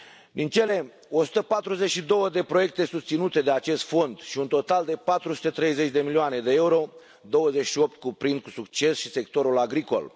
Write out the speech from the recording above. Din cele 142 de proiecte susținute de acest fond și un total de 430 de milioane de euro, 28 cuprind cu succes și sectorul agricol.